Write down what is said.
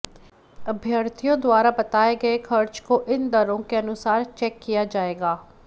अभ्यर्थियों द्वारा बताए गए खर्च को इन दरों के अनुसार चेक किया जाएगा